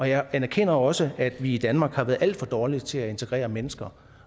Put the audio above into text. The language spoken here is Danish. jeg anerkender også at vi i danmark har været alt for dårlige til at integrere mennesker